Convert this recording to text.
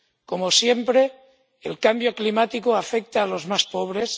Como siempre, el cambio climático afecta a los más pobres